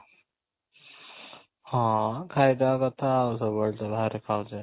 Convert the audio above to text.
ହଁ, ଖାଇଦେବା କଥା ଆଉ ସବୁବେଳେ ତ ବାହାରେ ଖାଉଛେ